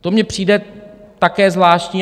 To mně přijde také zvláštní.